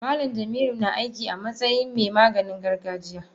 Malam jamilu na aiki amatsayin me Maganin gargajiya.